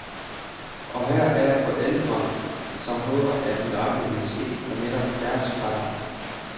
Og her er forældre, som håber, at miraklet vil ske for netop deres barn.